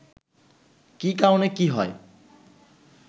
কি কারণে কি হয়